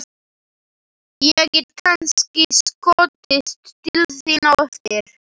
Ég get kannski skotist til þín á eftir.